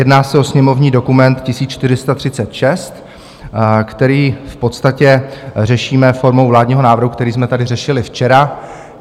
Jedná se o sněmovní dokument 1436, který v podstatě řešíme formou vládního návrhu, který jsme tady řešili včera.